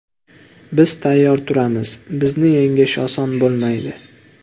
Biz tayyor turamiz, bizni yengish oson bo‘lmaydi.